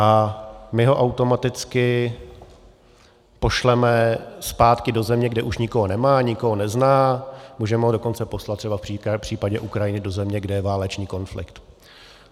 A my ho automaticky pošleme zpátky do země, kde už nikoho nemá, nikoho nezná, můžeme ho dokonce poslat třeba v případě Ukrajiny do země, kde je válečný konflikt.